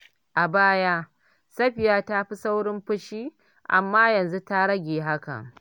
A baya, Safiya ta fi saurin fushi, amma yanzu ta rage hakan.